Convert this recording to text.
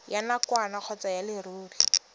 ya nakwana kgotsa ya leruri